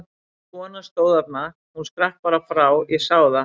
Þessi kona stóð þarna, hún skrapp bara frá, ég sá það!